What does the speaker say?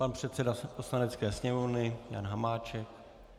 Pan předseda Poslanecké sněmovny Jan Hamáček.